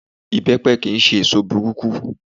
Ìbẹ́pe kí n ṣe èso burúkú.